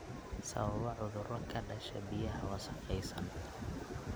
Sababa cudurro ka dhasha biyaha wasakhaysan.